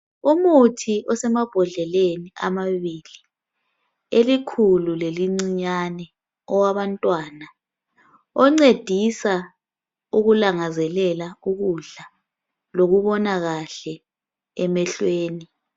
umuthi osemabhodleleni amabili elikhulu lelincinyane owabantwana oncedisa ukulangazelela ukudla lokubona kahle emhlweni